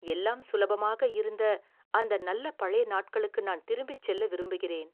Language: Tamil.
"எல்லாம் சுலபமாக இருந்த அந்த நல்ல பழைய நாட்களுக்கு நான் திரும்பிச் செல்ல விரும்புகிறேன்."